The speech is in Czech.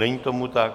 Není tomu tak.